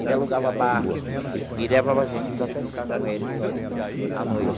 Ele alugava barco e levava a gente para pescar com ele à noite.